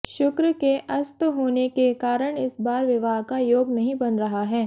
शुक्र के अस्त होने के कारण इस बार विवाह का योग नहीं बन रहा है